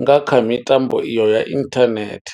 nga kha mitambo iyo ya internet.